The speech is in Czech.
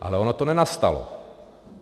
Ale ono to nenastalo.